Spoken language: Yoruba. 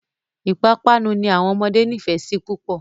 Ìpapánu ni àwọn ọmọdé nífẹ̀ẹ́ sí púpọ̀.